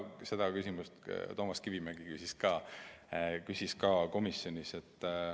Seda küsis ka Toomas Kivimägi komisjonis.